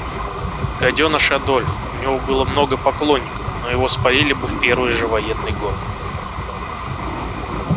гадёныш адольф у него было много поклонников но его спалили бы в первый же военный год